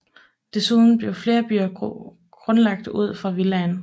Desuden blev flere byer grundlagt ud fra villaen